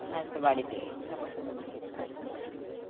আচ্ছা বাড়িতেই আছে তাই না?